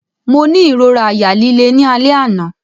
Mo ni irora àyà lile ni alẹ ana.